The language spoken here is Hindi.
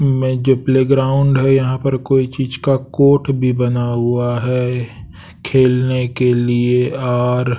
में जो प्लेग्राउंड है यहाँ पर कोई चीज का कोर्ट भी बना हुआ है ऐ खेलने के लिए और--